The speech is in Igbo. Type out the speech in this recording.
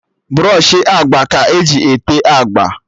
Brọshị agba ka eji ete agba